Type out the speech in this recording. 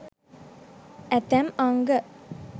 ඇතැම් අංග